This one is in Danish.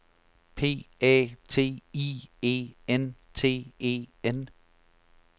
P A T I E N T E N